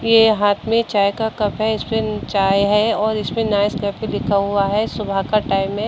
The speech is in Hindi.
ये हाथ में चाय का कप है। इसमें चाय है और इसमें नाइसकेफ लिखा हुआ है। सुबह का टाइम है।